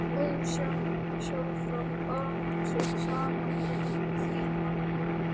Ósjálfrátt bar hann sig saman við Frímann.